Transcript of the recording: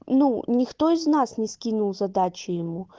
ну никто из нас не скинул задачи ему